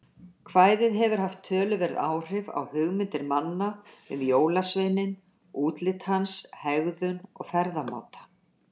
Kvæðið hefur haft töluverð áhrif á hugmyndir manna um jólasveininn, útlit hans, hegðun og ferðamáta.